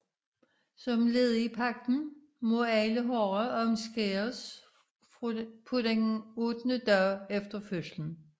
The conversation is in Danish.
Som led i pagten må alle drenge omskæres på den ottende dag efter fødslen